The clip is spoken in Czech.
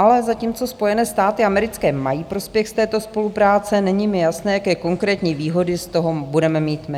Ale zatímco Spojené státy americké mají prospěch z této spolupráce, není mi jasné, jaké konkrétní výhody z toho budeme mít my.